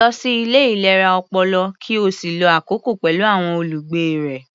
Lọ sí ilé ìlera ọpọlọ, ki ó sì lo àkokò pẹ̀lú àwọn olùgbé rẹ̀.